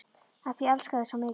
Af því ég elska þig svo mikið.